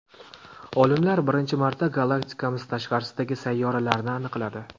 Olimlar birinchi marta galaktikamiz tashqarisidagi sayyoralarni aniqladi.